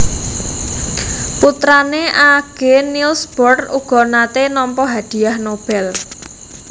Putrané Aage Niels Bohr uga naté nampa Hadiah Nobel